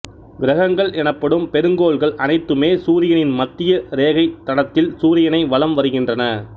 கிரகங்கள் எனப்படும் பெருங்கோள்கள் அனைத்துமே சூரியனின் மத்திய ரேகைத் தடத்தில் சூரியனை வலம் வருகின்றன